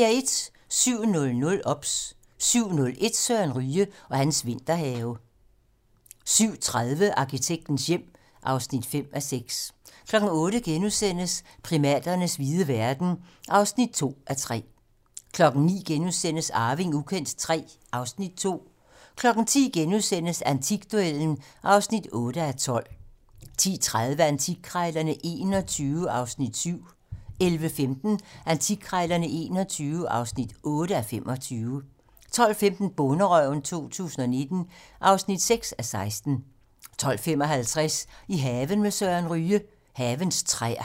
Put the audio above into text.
07:00: OBS 07:01: Søren Ryge og hans vinterhave 07:30: Arkitektens hjem (5:6) 08:00: Primaternes vilde verden (2:3)* 09:00: Arving ukendt III (Afs. 2)* 10:00: Antikduellen (8:12)* 10:30: Antikkrejlerne XXI (7:25) 11:15: Antikkrejlerne XXI (8:25) 12:15: Bonderøven 2019 (6:16) 12:55: I haven med Søren Ryge: Havens træer